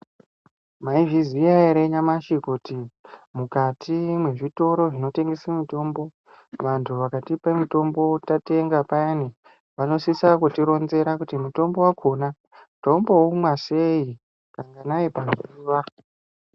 Maizviziya ere nyamashi kuti mukati mwezvitoro zvinotengese mutombo vantu vakatipa mutombo tatenga payani. Vanosisa kutironzera kuti mutombo vakona tinomboumwa sei kanganai pazuva.